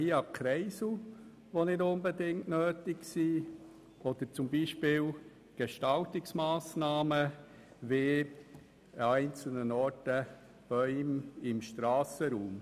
Wir denken hier an nicht unbedingt notwendige Kreisel oder beispielsweise an Gestaltungsmassnahmen wie Bäume an einzelnen Stellen im Strassenraum.